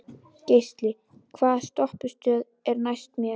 Geisli, hvaða stoppistöð er næst mér?